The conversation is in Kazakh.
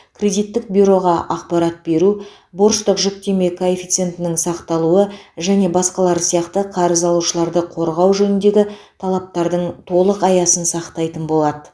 кредиттік бюроға ақпарат беру борыштық жүктеме коэффициентінің сақталуы және басқалары сияқты қарыз алушыларды қорғау жөніндегі талаптардың толық аясын сақтайтын болады